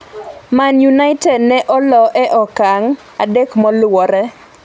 Man United ne olo e okang' adek moluwore